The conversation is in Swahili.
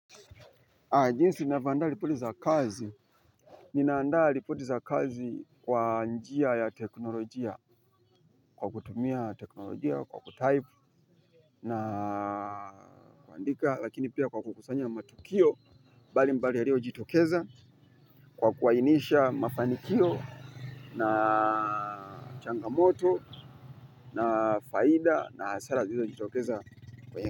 Jinsi ninavyoandaa ripoti za kazi. Ninaandaa ripoti za kazi kwa njia ya teknolojia kwa kutumia teknolojia kwa kutype naandika lakini pia kwa kukusanya matukio. Mbalimbali yaliyojitokeza kwa kuainisha mafanikio na changamoto na faida na hasara zilizojitokeza.